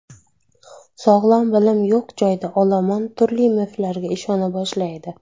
Sog‘lom bilim yo‘q joyda olomon turli miflarga ishona boshlaydi.